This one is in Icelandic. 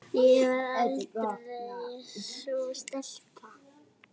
Ég var aldrei sú stelpa.